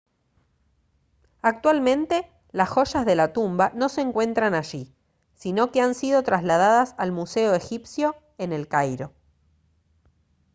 actualmente las joyas de la tumba no se encuentran allí sino que han sido trasladadas al museo egipcio en el cairo